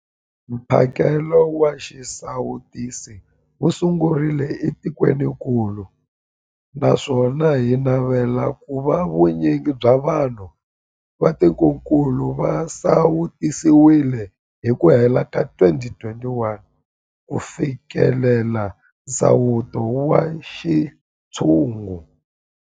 Mphakelo wa xisawutisi wu sungurile etikwenikulu naswona hi navela ku va vu nyingi bya vanhu va tikokulu va sawutisiwile hi ku hela ka 2021 ku fikelela nsawuto wa xintshungu.